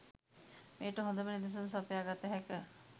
මෙයට හොදම නිදසුන් සපයා ගත හැක.